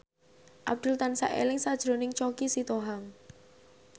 Abdul tansah eling sakjroning Choky Sitohang